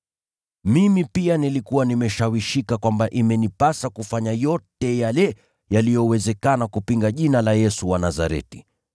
“Mimi pia nilikuwa nimeshawishika kwamba imenipasa kufanya yote yale yaliyowezekana kupinga Jina la Yesu wa Nazareti.